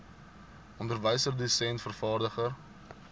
onderwyser dosent vervaardiger